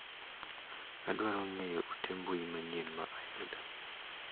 Adwaro ng'eyo ote mbui manyien ma ayudo.